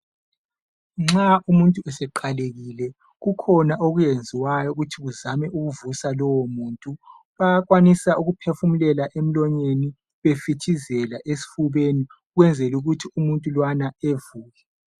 Nxa umuntu eseqalekile kukhona okwenziwayo ukuthi uzame ukuvusa lowomuntu. Bayakwanisa ukuphefumulela emlonyeni befithizela esifubeni ukwenzela ukuthi umuntu lowana evuke.